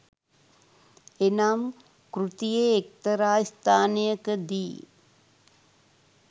එනම් කෘතියේ එක්තරා ස්ථානයකදී